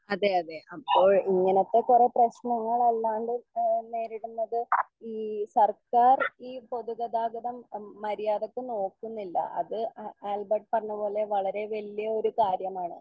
അതെ അതെ അപ്പോൾ ഇങ്ങനത്തെ കൊറേ പ്രേശ്നങ്ങൾ അല്ലാണ്ട് എഹ് നേരിടുന്നത് ഈ സർക്കാർ ഈ പൊതുഗതാഗതം ഉം മര്യാദക്ക് നോക്കുന്നില്ല അത് ആ ആൽബർട്ട് പറഞ്ഞപോലെ വളരെ വലിയൊരു കാര്യമാണ്.